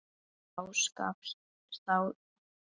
Þá skapast efnið.